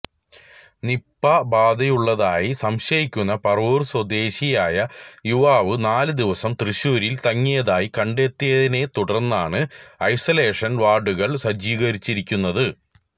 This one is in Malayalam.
നിപ ബാധയുള്ളതായി സംശയിക്കുന്ന പറവൂർ സ്വദേശിയായ യുവാവ് നാല് ദിവസം തൃശൂരിൽ തങ്ങിയതായി കണ്ടെത്തിയതിനെ തുടർന്നാണ് ഐസോലേഷൻ വാർഡുകൾ സജ്ജീകരിച്ചിരിക്കുന്നത്